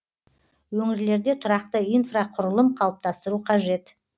өңірлерде тұрақты инфрақұрылым қалыптастыру қажет